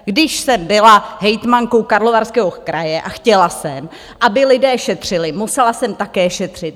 Když jsem byla hejtmankou Karlovarského kraje a chtěla jsem, aby lidé šetřili, musela jsem také šetřit.